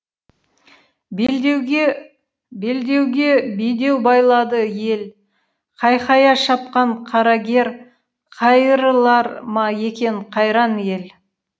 белдеуге бедеу байлады ел қайқая шапқан қарагер қайырылар ма екен қайран ел